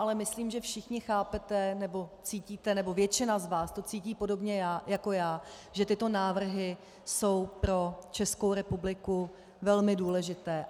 Ale myslím, že všichni chápete, nebo cítíte nebo většina z vás to cítí podobně jako já, že tyto návrhy jsou pro Českou republiku velmi důležité.